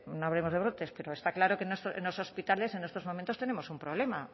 no hablemos de brotes pero está claro que en los hospitales en estos momentos tenemos un problema